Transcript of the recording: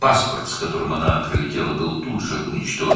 Gəldiyi pasport dərhal məhv edildi.